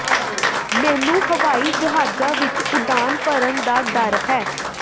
ਮੈਨੂੰ ਹਵਾਈ ਜਹਾਜ਼ਾਂ ਵਿਚ ਉਡਾਣ ਭਰਨ ਦਾ ਡਰ ਹੈ